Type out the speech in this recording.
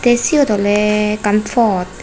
te seyot ole ekkan pot.